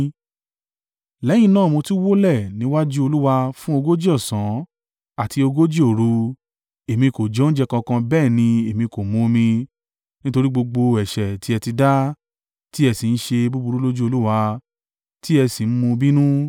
Lẹ́yìn náà mo tún wólẹ̀ níwájú Olúwa fún ogójì ọ̀sán àti ogójì òru, èmi kò jẹ oúnjẹ kankan bẹ́ẹ̀ ni èmi kò mu omi, nítorí gbogbo ẹ̀ṣẹ̀ tí ẹ tí dá, tí ẹ sì ń ṣe búburú lójú Olúwa, tí ẹ sì ń mú u bínú.